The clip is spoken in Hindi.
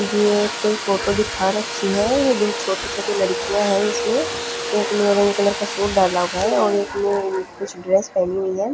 ये कोई फोटो दिखा रही है ये दो छोटी छोटी लड़किया है इसमें एक ने ऑरेंज कलर का सूट डाला हुआ है और एक ने कुछ ड्रेस पहनी हुई है।